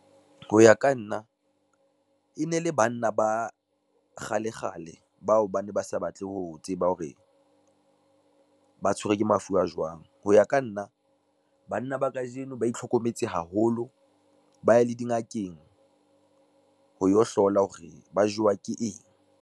Ho ya ka nna, e ne le banna ba kgalekgale bao ba ne ba sa batle ho tseba hore, ba tshwerwe ke mafu a jwang. Ho ya ka nna, banna ba kajeno ba itlhokometse haholo, ba ye le dingakeng ho yo hlola hore ba jowa ke eng.